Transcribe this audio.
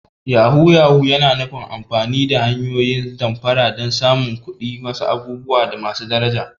Yahu-yahu yana nufin amfani da hanyoyin damfara don samun kuɗi ko wasu abubuwa masu daraja.